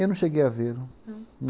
Eu não cheguei a vê-lo. Não? não.